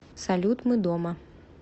салют мы дома